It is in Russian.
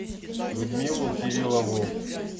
людмилу кириллову